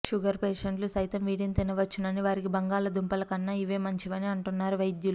sugar పేషెంట్లు సైతం వీటిని తినవచ్చునని వారికి బంగాళాదుంపల కన్నా ఇవే మంచివని అంటున్నారు వైద్యులు